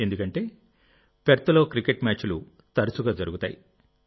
ఎందుకంటే పెర్త్లో క్రికెట్ మ్యాచ్లు తరచుగా జరుగుతాయి